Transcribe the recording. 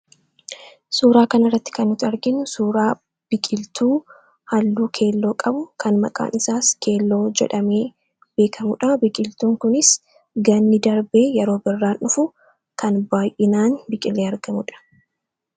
Suuraa kana irratti kan nuti arginu suuraa biqiiltuu halluu keelloo qabu kan maqaan isaas keelloo jedhamee beekamuudha. Biqiltuun kunis ganni darbee yeroo birraan dhufu kan baay'inaan biqilee argamuudha.